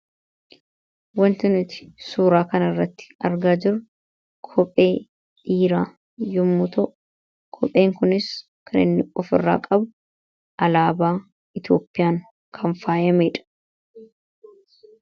Wanti nuti suuraa kana irratti argaa jirru, kophee dhiiraadha. Kopheen kunis, kan inni ofirraa qabu alaabaa Itoophiyaan kan faayameedha.